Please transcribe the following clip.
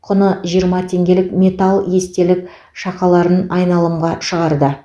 құны жиырма теңгелік металл естелік шақаларын айналымға шығарды